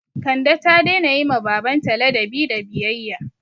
Kande ta daina yi ma baban ta ladabi da biyayya